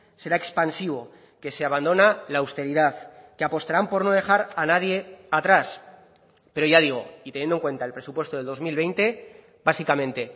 será expansivo que se abandona la austeridad que apostarán por no dejar a nadie atrás pero ya digo y teniendo en cuenta el presupuesto de dos mil veinte básicamente